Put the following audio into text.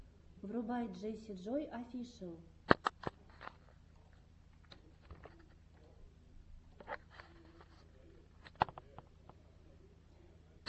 врубай джесси джой офишел